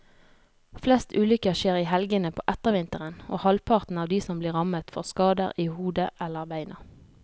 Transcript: Flest ulykker skjer i helgene på ettervinteren, og halvparten av de som blir rammet får skader i hodet eller beina.